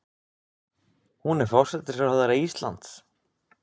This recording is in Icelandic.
Hún er forsætisráðherra Íslands.